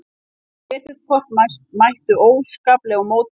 Kreditkort mættu óskaplegum mótbyr í fyrstu